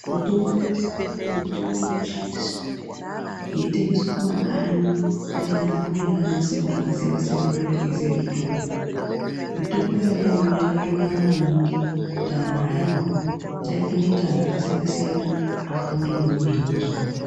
Mitombo ino siyana kune mitombo ino shandiswa yei tengeswe ku makanyi ndi ana mbuya nana sekuru aka siyana siyana aka kure eyi ziye mutombo mitombo iyona iyoyo yakato naka maningi kuti anhu amwe ngenda yekuti ino ita kuti anhu aka siyana siyana apore kubva mu zvirwere zvaka wanda.